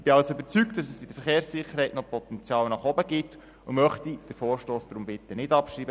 Ich bin also überzeugt, dass es bei der Verkehrssicherheit noch Potenzial gibt und möchte den Vorstoss deshalb nicht abschreiben.